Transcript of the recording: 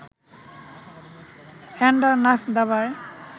Andernach দাবায়